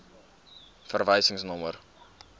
verwysingsnommer